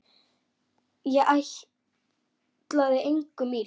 Ég ætlaði engum illt.